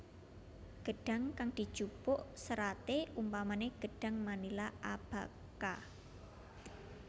Gedhang kang dijupuk seraté umpamané gedhang manila abaca